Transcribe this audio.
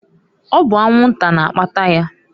Ọ bụ anwu-nta na-akpata ya.